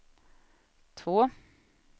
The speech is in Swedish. två